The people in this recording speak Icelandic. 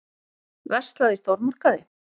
Verslað í stórmarkaði.